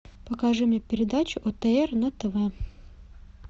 покажи мне передачу отр на тв